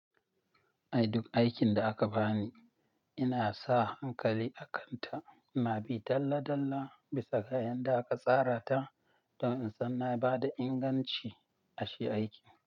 Ai duk aikin da aka bani, ina sa hankali a kanta. Ina bi dalla dalla bisa ga yanda aka tsara ta don in san na bada inganci ashe aikin.